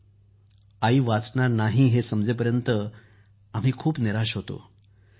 mummy वाचणार नाही हे समजेपर्यंत आम्ही खूप निराश होतो